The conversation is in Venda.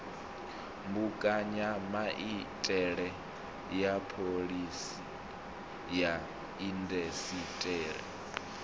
mbekanyamaitele ya phoḽisi ya indasiṱeri